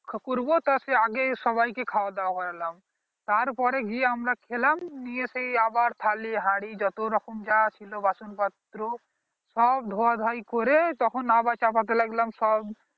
করবো তা সেই আগে সবাই কে খাওয়া দাওয়া করালাম তার পরে গিয়ে আমরা খেলাম তার পরে আবার সেই থালি হাড়ি যত রকম যা ছিল বাসন পাত্র সব ধোয়া ধোঁয়ায় করে তখন আবার চাপাতে লাগলাম সব